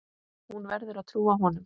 Hún verður að trúa honum.